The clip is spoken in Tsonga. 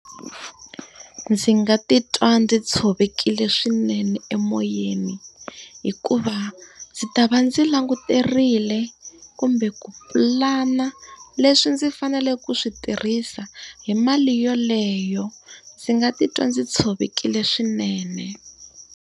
Ndzi nga titwa ndzi tshovekile swinene emoyeni, hikuva ndzi ta va ndzi languterile kumbe ku pulana leswi ndzi fanele ku swi tirhisa hi mali yeleyo. Ndzi nga titwa ndzi tshovekile swinene.